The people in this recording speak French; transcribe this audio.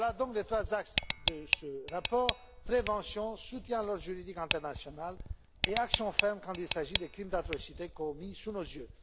Voilà donc les trois axes de ce rapport prévention, soutien à l'ordre juridique international et action ferme quand il s'agit des crimes d'atrocités commis sous nos